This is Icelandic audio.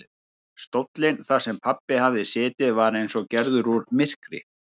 Stóllinn þar sem pabbi hafði setið var eins og gerður úr myrkri.